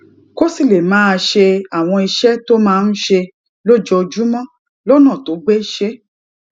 kó sì lè máa ṣe àwọn iṣé tó máa ń ṣe lójoojúmó lónà tó gbéṣé